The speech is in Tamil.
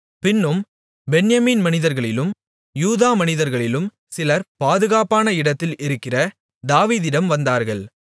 பின்னும் பென்யமீன் மனிதர்களிலும் யூதா மனிதர்களிலும் சிலர் பாதுகாப்பான இடத்தில் இருக்கிற தாவீதிடம் வந்தார்கள்